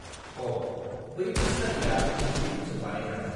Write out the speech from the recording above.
अ, बैफोर सारिया गुबै खुनजों बानायजानाय।